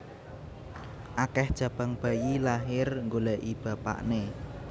Akeh jabang bayi lahir nggoleki bapakne